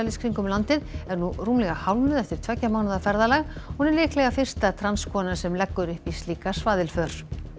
kringum landið er nú rúmlega hálfnuð eftir tveggja mánaða ferðalag hún er líklega fyrsta transkonan sem leggur upp í slíka svaðilför